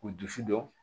K'u dusu don